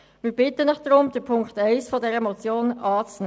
Deshalb bitte wir Sie, Punkt 1 dieser Motion anzunehmen.